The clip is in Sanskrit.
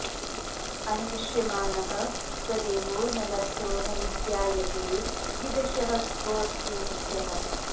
अन्विष्यमाणः स देवो न लभ्यो न विज्ञायते कीदृशः कोऽस्ति मुख्यः